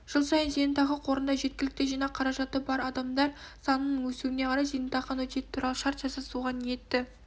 жыл сайын зейнетақы қорында жеткілікті жинақ қаражаты бар адамдар санының өсуіне қарай зейнетақы аннуитеті туралы шарт жасасуға ниетті